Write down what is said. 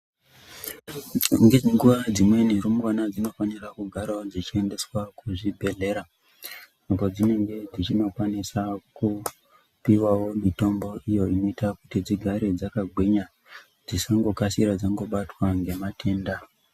Nenguva dzimweni rumbwana dzinofanira kugaravo dzichiendeswa kuzvibhedhlera. Apo dzinenge dzichinokwanisa kupivavo mitombo iyo inoita kuti tigare dzakagwinya dzisangokasira dzangobatwa ngematenda.